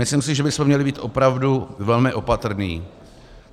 Myslím si, že bychom měli být opravdu velmi opatrní.